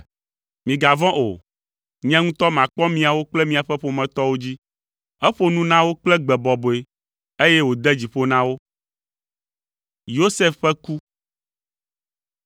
Migavɔ̃ o, nye ŋutɔ makpɔ miawo kple miaƒe ƒometɔwo dzi.” Eƒo nu na wo kple gbe bɔbɔe, eye wòde dzi ƒo na wo.